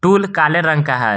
Tool काले रंग का है।